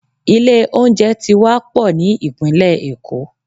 Ilé oúnjẹ ti wá pò ní Ìpínlẹ̀ èkó.